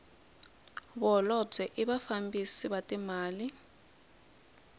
vaholobye i vafambisi va timali